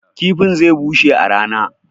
kifin zai bushe a rana